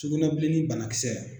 Cugunɛbilennin banakisɛ.